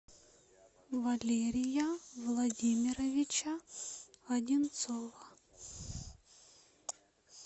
валерия владимировича одинцова